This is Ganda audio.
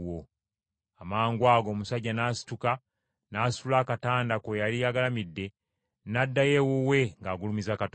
Amangwago omusajja n’asituka n’asitula akatanda kwe yali agalamidde, n’addayo ewuwe ng’agulumiza Katonda.